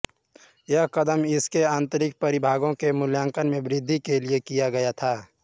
यह कदम इसके आंतरिक परिभागो के मूल्यांकन में वृद्धि के लिए किया गया था